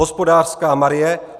Hospodářská Marie